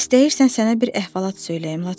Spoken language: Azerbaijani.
İstəyirsən sənə bir əhvalat söyləyim Laçınım.